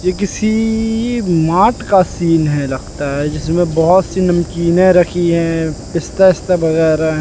ये किसी मात का सीन है लगता है जिसमें बहोत सी नमकीने रखी है पिस्ता बिस्ता वगैराह--